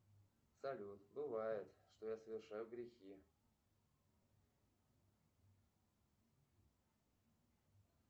салют бывает что я совершаю грехи